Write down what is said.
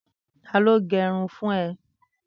Tàló n gẹrún fùn è?